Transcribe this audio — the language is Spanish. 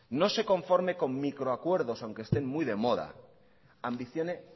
no se conforme con microacuerdos aunque estén muy de moda ambicione